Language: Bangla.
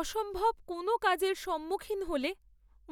অসম্ভব কোনও কাজের সম্মুখীন হলে